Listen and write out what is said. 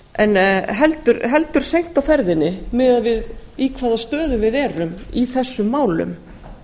en heldur seint á ferðinni miðað við í hvaða stöðu við erum í þessum málum